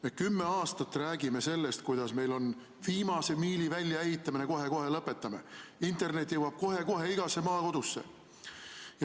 Me kümme aastat räägime sellest, kuidas meil on viimase miili väljaehitamine, kohe-kohe lõpetame, internet jõuab kohe-kohe igasse maakodusse.